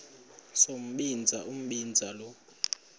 sombinza umbinza lo